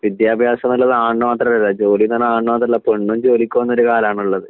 വിദ്യാഭ്യാസം എന്നുള്ളത് ആണിന് മാത്രമല്ല ജോലി എന്നു പറയുന്നത് ആണിന് മാത്രമല്ല പെണ്ണും ജോലിക്കു പോകുന്ന ഒരു കാലമാണുള്ളത്